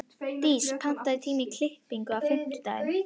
Dís, pantaðu tíma í klippingu á fimmtudaginn.